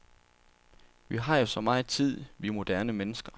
Vi har jo så meget tid, vi moderne mennesker.